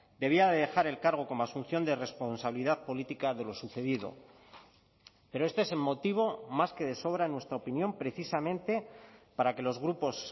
debía de dejar el cargo como asunción de responsabilidad política de lo sucedido pero este es el motivo más que de sobra en nuestra opinión precisamente para que los grupos